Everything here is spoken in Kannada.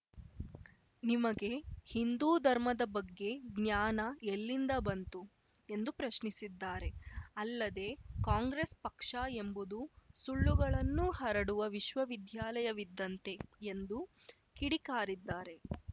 ನಿಮಗೆ ಹಿಂದು ಧರ್ಮದ ಬಗ್ಗೆ ಜ್ಞಾನ ಎಲ್ಲಿಂದ ಬಂತು ಎಂದು ಪ್ರಶ್ನಿಸಿದ್ದಾರೆ ಅಲ್ಲದೆ ಕಾಂಗ್ರೆಸ್‌ ಪಕ್ಷ ಎಂಬುದು ಸುಳ್ಳುಗಳನ್ನು ಹರಡುವ ವಿಶ್ವವಿದ್ಯಾಲಯವಿದ್ದಂತೆ ಎಂದು ಕಿಡಿಕಾರಿದ್ದಾರೆ